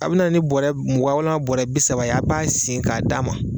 A bɛ na ni bɔrɛ mugan walima bɔrɛ bi saba ye a' b'a sen k'a d'a ma